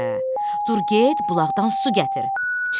Dur get bulaqdan su gətir.